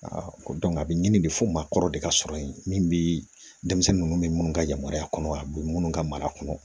a bɛ ɲini de fo maakɔrɔ de ka sɔrɔ yen min bɛ denmisɛnnin ninnu ni minnu ka yamaruya kɔnɔ a bɛ minnu ka mara kɔnɔ